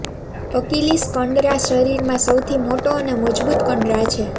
Achilles કંડરા શરીરમાં સૌથી મોટો અને મજબૂત કંડરા છે